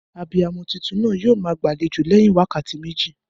Abiyamo tuntun naa yio maa gbàlejò léyin wákàtí méjì